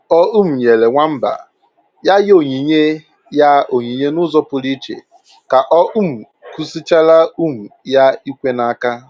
O um nyere nwamba ya onyinye ya onyinye n'ụzọ pụrụ iche ka ọ um kụzichaara um ya ikwe n'aka